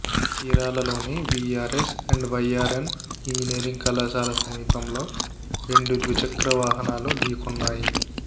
చీరాలలోని VRS and YRN engineering కళాశాల సమీపంలో రెండు ద్విచక్రవాహనాలు ఢీకొన్నాయి